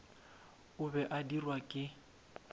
o be a dirwa ke